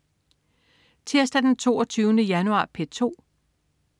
Tirsdag den 22. januar - P2: